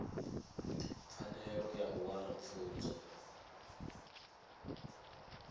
pfanelo ya u wana pfunzo